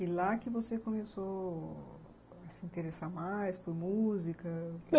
E lá que você começou a se interessar mais por música?